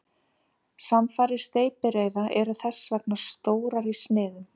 Samfarir steypireyða eru þess vegna stórar í sniðum.